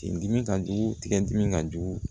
Tin didi ka jugu tigɛ dimi ka jugu